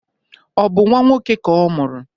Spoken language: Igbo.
Ọ bụ nnwa nwoke ka ọ mụrụ?